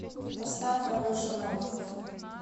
поставь алеша новиков